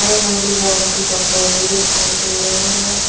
नए-नए डिजाइन के कपड़े भी दिखाई दे रहे हैं।